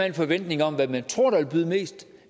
en forventning om hvem man tror der vil byde mest